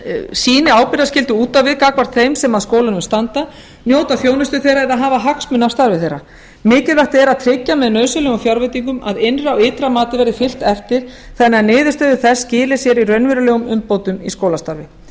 sýni ábyrgðarskyldu út á við gagnvart þeim sem að skólunum standa njóta þjónustu þeirra eða hafa hagsmuni af starfi þeirra mikilvægt er að tryggja með nauðsynlegum fjárveitingum að innra og ytra mati verði fylgt eftir þannig að niðurstöður þess skili sér í raunverulegum umbótum í skólastarfi